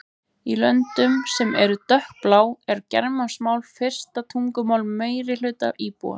Í löndum sem eru dökkblá er germanskt mál fyrsta tungumál meirihluta íbúanna.